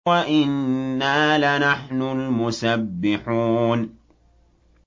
وَإِنَّا لَنَحْنُ الْمُسَبِّحُونَ